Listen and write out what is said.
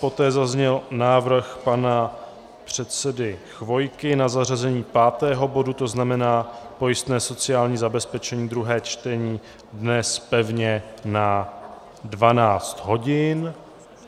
Poté zazněl návrh pana předsedy Chvojky na zařazení pátého bodu, to znamená pojistné sociální zabezpečení, druhé čtení, dnes pevně na 12 hodin.